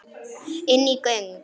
Inní göng.